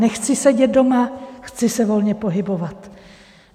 Nechci sedět doma, chci se volně pohybovat.